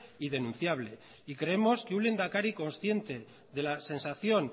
y denunciable y creemos que un lehendakari consciente de la sensación